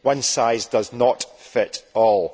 One size does not fit all.